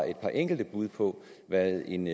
et par enkelte bud på hvad en